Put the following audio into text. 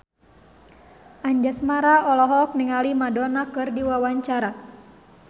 Anjasmara olohok ningali Madonna keur diwawancara